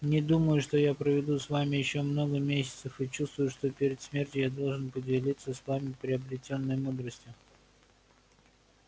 не думаю что я проведу с вами ещё много месяцев и чувствую что перед смертью я должен поделиться с вами приобретённой мудростью